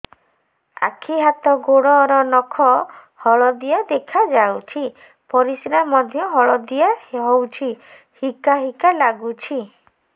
ଆଖି ହାତ ଗୋଡ଼ର ନଖ ହଳଦିଆ ଦେଖା ଯାଉଛି ପରିସ୍ରା ମଧ୍ୟ ହଳଦିଆ ହଉଛି ହିକା ହିକା ଲାଗୁଛି